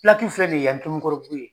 Pilakiw filɛ nin ye yan ye Tomikɔrɔbugu ye.